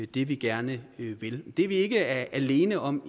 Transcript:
det vi gerne vil det er vi ikke alene om